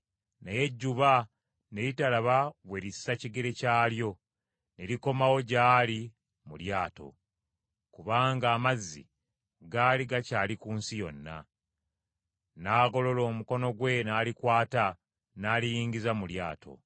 naye ejjuba ne litalaba we lissa kigere kyalyo, ne likomawo gy’ali mu lyato, kubanga amazzi gaali gakyali ku nsi yonna. N’agolola omukono gwe n’alikwata n’aliyingiza mu lyato.